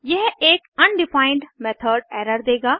यह एक undefined method error देगा